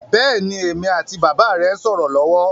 Bẹ́ẹ̀ni, èmi àti bàbà rẹ ń sọ̀rọ̀ lọ́wọ́